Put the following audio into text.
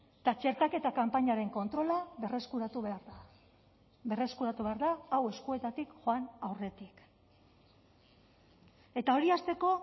eta txertaketa kanpainaren kontrola berreskuratu behar da berreskuratu behar da hau eskuetatik joan aurretik eta hori hasteko